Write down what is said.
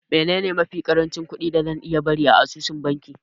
Menene mafi ƙarancin kuɗi da zan iya bari a asusun banki?